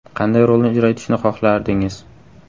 Qanday rolni ijro etishni xohlardingiz?